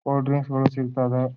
Cold drinks ಗಳು ಸಿಗತ್ತವೆ.